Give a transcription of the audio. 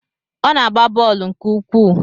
Ọ na-agba bọọlụ nke ukwuu